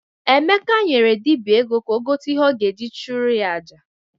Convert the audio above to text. Emeka nyere dibịa ego ka o gote ihe ọ ga-eji chụrụ ya aja.